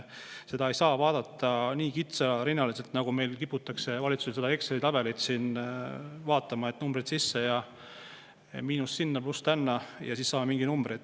Seda ei saa vaadata nii kitsarinnaliselt, nagu meil kiputakse valitsuses seda Exceli tabelit vaatama: et numbrid sisse ja miinus sinna, pluss tänna ja siis saame mingi numbri.